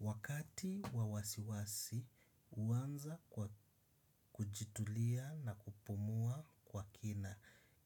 Wakati wawasiwasi huanza kwa kujitulia na kupumua kwa kina